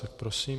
Tak prosím.